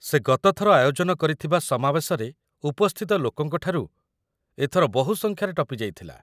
ସେ ଗତ ଥର ଆୟୋଜନ କରିଥିବା ସମାବେଶରେ ଉପସ୍ଥିତ ଲୋକଙ୍କ ଠାରୁ ଏଥର ବହୁ ସଂଖ୍ୟାରେ ଟପିଯାଇଥିଲା